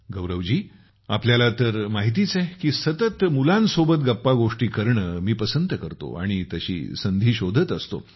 गौरव जी आपल्याला तर माहितीच आहे मी सतत मुलांसोबत गप्पा गोष्टी करणे पसंत करतो आणि तशी संधी शोधत असतो